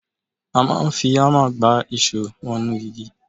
A máa ń fi ámà gbá ìṣó wọnú igi.